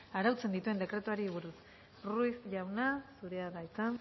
arautzen dituen dekretuari buruz ruiz jauna zurea da hitza